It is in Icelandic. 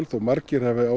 þó að margir hafi